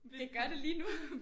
Det gør det lige nu